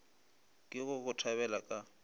ke go go tlabela ka